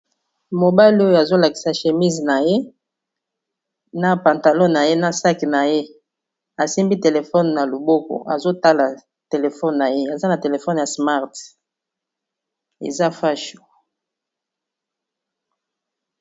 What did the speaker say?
Mobali oyo azolakisa chemise na ye na pantalon na ye na saki na ye asimbi telefone na loboko azotala telefone na ye aza na telefone ya smart eza fasho.